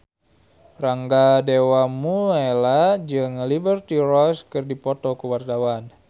Rangga Dewamoela jeung Liberty Ross keur dipoto ku wartawan